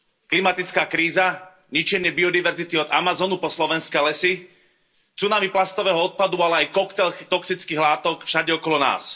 Klimatická kríza, ničenie biodiverzity od Amazonu po slovenské lesy, tsunami plastového odpadu, ale aj koktail toxických látok všade okolo nás.